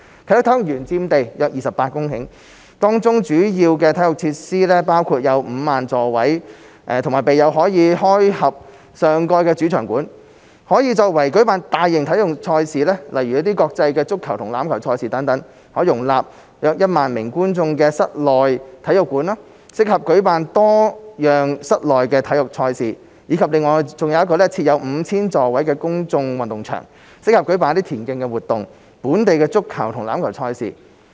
啟德體育園佔地約28公頃，當中主要體育設施包括：設有5萬座位和備有可開合上蓋的主場館，可用作舉辦大型體育賽事，如國際足球和欖球賽事等；可容納1萬名觀眾的室內體育館，適合舉辦多樣室內體育賽事；以及設有 5,000 座位的公眾運動場，適合舉辦田徑活動、本地足球和欖球賽事。